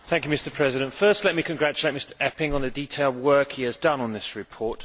Mr President, first let me congratulate Mr Eppink on the detailed work he has done on this report.